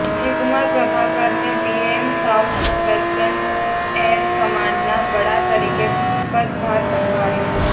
શ્રીકુમાર પ્રભાકરને VM south western air કમાન્ડનાં વડા તરીકે પદભાર સંભાળ્યો